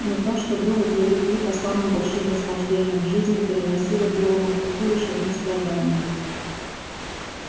но то что было для лип-липа самым большим наслаждением в жизни приносило белому клыку лишь одни страдания